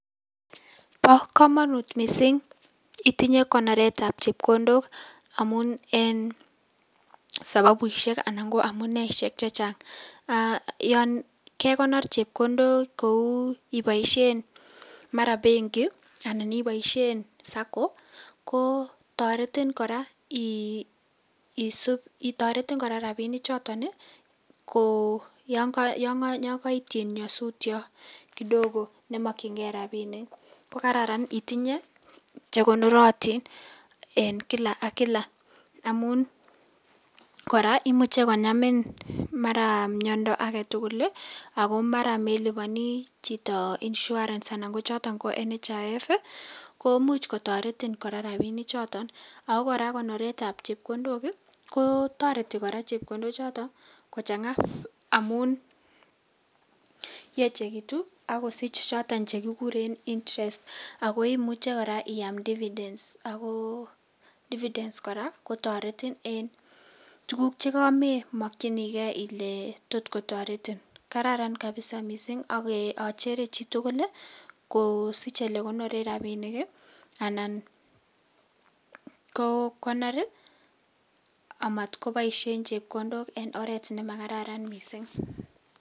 Bokomonut missing' itinye konoretab chepkondok amun en sabobushek anan ko en amune chechang, yon kekonor chepkondok kou iboishen benki anan iboishen SACCO kotoretin koraa ii isip, toretin koraa rabinichoton ii ko yon koityin nyosutiot kidogo nemokyingee rabinik ko kararn itinye chekonorotin en kila ak kila amun imuche konamin maran miondo agetugul ii ako maran meliboni chito insurance anan kochoton NHIF ii komuch kotoretin koraa rabinichoton, ako koraaa konoretab chepkondochoton ii kotoreti koraa chepkondochoton kochangaa amun yechekitu ak kosich choton chekikurn interest ako imuche koraa iaam dividends, ako dividends koraa kotoretin en tuguk chekamemokwinikee ile tot kotoretin, kararan kabisa missing akochere chitugul ii kosich elekonoren rabinik ii anan kokonor amat koboishen chepkondok en oret nemakararan missing'